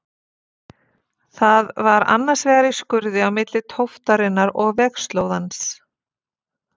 Það var annars vegar í skurði á milli tóftarinnar og vegslóðans.